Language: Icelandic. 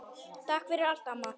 Takk fyrir allt, amma.